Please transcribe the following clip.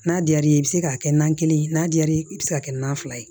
N'a diyar'i ye i bɛ se k'a kɛ nan kelen ye n'a diyar'i ye i bɛ se k'a kɛ nan fila ye